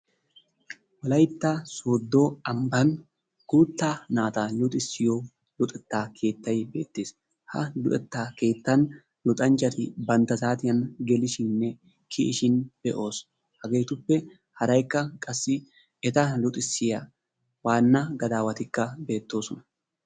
Wolaytta sooddo ambbaan guuttaa naata luxissiyo luxetta keettay beettees, ha luxetta keettaan luxxanchchati bantta saatiyan gelishiininne kiyishin be'oos, hegeetuppe haraykka qassi eta luxissiya waanna gadaawatikka bettoosona.